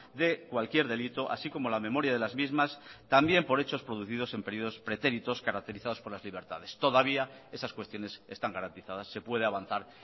de cualquier delito así como la memoria de las mismas también por hechos producidos en periodos pretéritos caracterizados por las libertades todavía esas cuestiones están garantizadas se puede avanzar